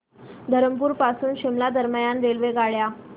धरमपुर पासून शिमला दरम्यान रेल्वेगाड्या